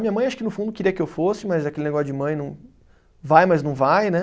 Minha mãe, acho que no fundo, queria que eu fosse, mas aquele negócio de mãe não, vai, mas não vai, né?